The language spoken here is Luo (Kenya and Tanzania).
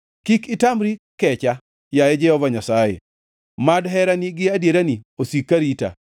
Kik itamri kecha, yaye Jehova Nyasaye; mad herani gi adierani osik ka rita.